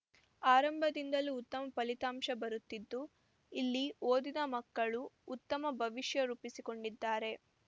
ಆರಂಭದಿಂದಲೂ ಉತ್ತಮ ಫಲಿತಾಂಶ ಬರುತ್ತಿದ್ದು ಇಲ್ಲಿ ಓದಿದ ಮಕ್ಕಳು ಉತ್ತಮ ಭವಿಷ್ಯರೂಪಿಸಿಕೊಂಡಿದ್ದಾರೆ